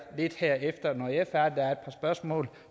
er et par spørgsmål